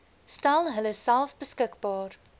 stel hulleself beskikbaar